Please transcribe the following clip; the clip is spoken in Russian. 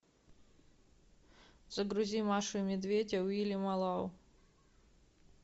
загрузи машу и медведь уильяма лау